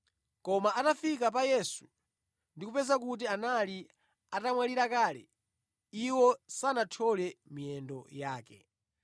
Koma atafika pa Yesu ndi kupeza kuti anali atamwalira kale, iwo sanathyole miyendo yake.